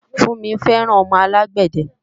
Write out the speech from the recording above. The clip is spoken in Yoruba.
Funmi fẹ́ràn ọmọ alágbàdẹ